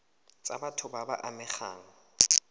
tsa batho ba ba amegang